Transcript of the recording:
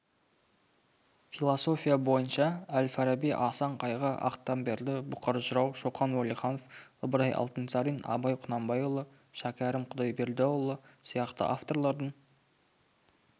философия бойынша әлфараби асан қайғы ақтамберді бұқар жырау шоқан уәлиханов ыбырай алтынсарин абай құнанбайұлы шәкәрім құдайбердіұлы сияқты авторлардың